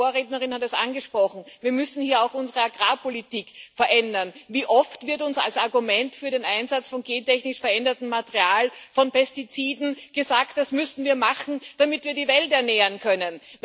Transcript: Meine Vorrednerin hat es angesprochen Wir müssen auch unsere Agrarpolitik verändern. Wie oft wird uns als Argument für den Einsatz von gentechnisch verändertem Material, von Pestiziden, gesagt Das müssen wir machen, damit wir die Welt ernähren können.